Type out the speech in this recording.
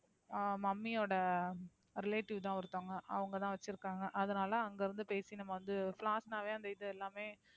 ஹம் mummy யோட relative தான் ஒருத்தவங்க. அவங்க தான் வச்சுருக்காங்க அதுனால அங்க வந்து பேசி நம்ம வந்து flowers னாவே அந்த இது எல்லாமே,